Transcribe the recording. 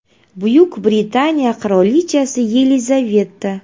Buyuk Britaniya qirolichasi Yelizaveta.